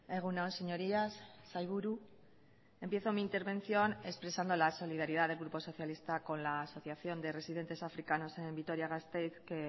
egun on señorías sailburu empiezo mi intervención expresando la solidaridad del grupo socialista con la asociación de residentes africanos en vitoria gasteiz que